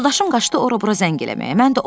Yoldaşım qaçdı ora-bura zəng eləməyə.